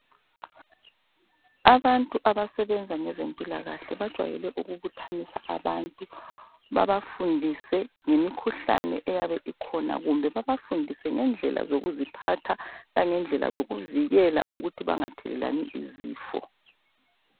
Abantu abasebenza ngezempilakahle bajwayele ukubuthanisa abantu babafundise ngemikhuhlane eyabe ikhona kumbe babafundise ngendlela zokuziphatha langendlela zokuvikela ukuthi bangathelelani izifo.